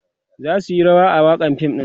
su zasu Yi rawa a wakan fim ɗin